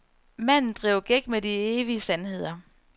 Manden driver gæk med de evige sandheder.